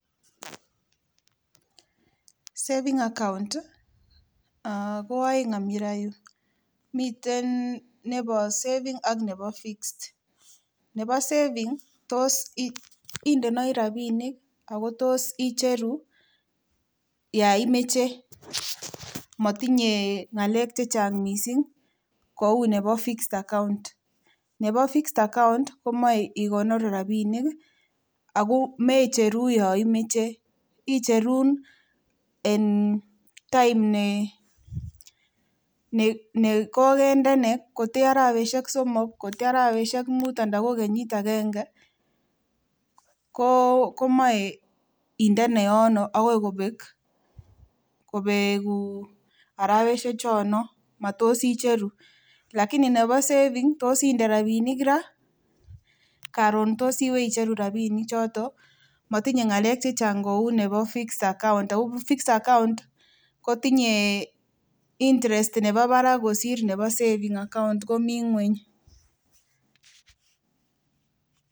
Savings account ko oeng ini roo, miten nebo savings ak nebo fixed . Nebo savings tos indoi rabinik ago tos icheru yan imoche, motinye ngalek chechang mising kou nebo fixed account. Nebo fixed account komoe inemu rabinik ago meicheru yon imoche, icheru en time ne kogende, kotko arawek somok, kotko arawek muut anan ko kenyit agenge, komoe inde yono agoi kobek arawek chondon matos icheru. Lakini nebo savings ko sinde rabinik ra karon ko sibeicheru rabinik choto, motinye ng'alek che chang kou nebo fixed account, ago fixed account kotinye interest nebo barak kosir nebo savings account komi ng'weny.